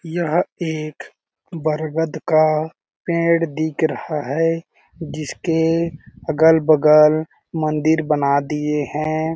यह एक बरगद का पेड़ दिख रहा है जिसके अगल-बगल मंदिर बना दिए हैं।